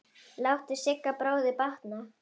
Láttu Sigga bróður batna.